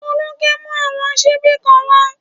Folúkẹ́ mú àwọn ṣíbí kan wá